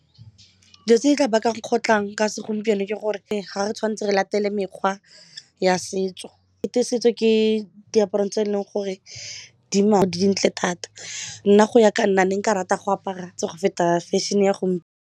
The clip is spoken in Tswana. Dio tse di tla baka kgotlhang ka segompieno ke gore e ga re tshwanetse re latele mekgwa ya setso ekete setso ke diaparong tse eleng gore di dintle thata nna go ya ka nna ne nka rata go apara go feta fashion-e ya go.